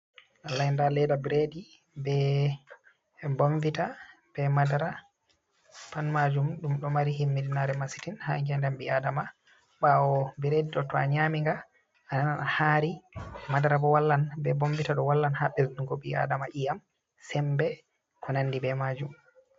Nda leda biredi be bombita be madara pat majum ɗum ɗo mari himmiɗinare masitin ha nge'ndam ɓi adama ɓawo biredi ɗo to'a nyami nga ananan a hari madara bo wallan be bombita ɗo wallan ha bezdugo ɓi adama iyam, sembe, ko nandi be majum.